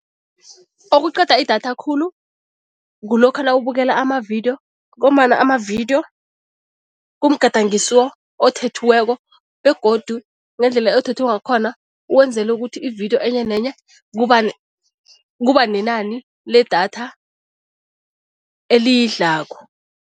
Okuqeda idatha khulu kulokha nawubukela amavidiyo ngombana amavidiyo kumgadangiso othethweko begodu ngendlela othethwe ngakhona wenzele ukuthi ividiyo enye nenye kuba kuba nenani ledatha eliyidlako.